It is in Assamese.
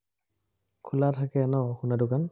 খোলা থাকে ন সোনদাৰ দোকান?